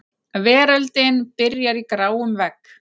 Veröldin byrjar í gráum vegg.